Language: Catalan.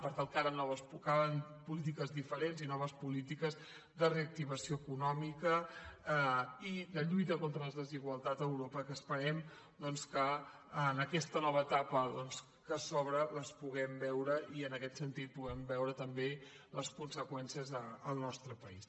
per tant calen polítiques diferents i noves polítiques de reactivació econòmica i de lluita contra les desigualtats a europa que esperem que en aquesta nova etapa que s’obre les puguem veure i en aquest sentit en puguem veure també les conseqüències al nostre país